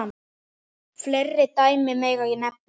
Fleiri dæmi megi nefna.